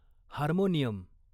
harmonium